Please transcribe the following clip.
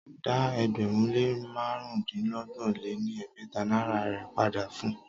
Dá ẹgbẹ̀rún lé márùndínọgbọ̀n lé ní ẹgbẹ́ta naira rè padà fun!